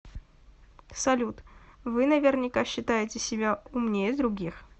салют вы наверняка считаете себя умнее других